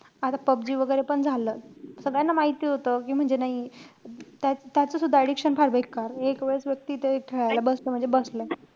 आता पबजी वैगेरे पण झालं. सगळ्यांना माहिती होतं. कि म्हणजे नाई त्या~ त्याचसुद्धा addiction फार बेकार. एक वेळेस व्यक्ती ते तिथे खेळायला बसला म्हणजे बसला.